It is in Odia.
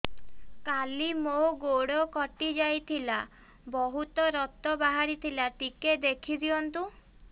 କାଲି ମୋ ଗୋଡ଼ କଟି ଯାଇଥିଲା ବହୁତ ରକ୍ତ ବାହାରି ଥିଲା ଟିକେ ଦେଖି ଦିଅନ୍ତୁ